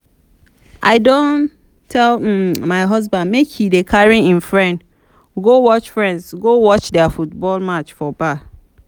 i don tell um my husband make he dey carry im friends go watch friends go watch their football match for bar